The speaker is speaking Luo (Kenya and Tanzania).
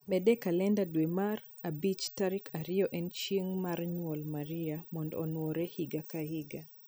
Med e kalenda dwe mar abich tarik ariyo en chieng' mar nyuol maria mondo onuore higa ka higa